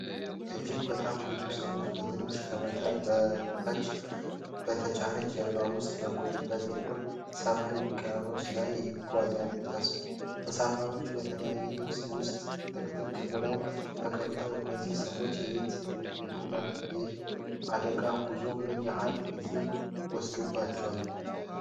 እጅግ በጣም ብዙ ሰዎች በትንሽ፣ ከመጠን በላይ በተጫነ ጀልባ ውስጥ በጥቁር ሰማያዊ ውቅያኖስ ላይ ተጉዘዋል። ተሳፋሪዎቹ በተለያዩ ልብሶች ውስጥ ጥቅጥቅ ብለው ተቀምጠዋል። እነዚህ ሰዎች የት እየሄዱ ነው? ይህ አደገኛ ጉዞ ምን ያህል ጊዜ ወሰደባቸው?